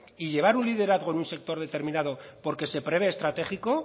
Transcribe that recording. y llevar un liderazgo en un sector determinado porque se prevé estratégico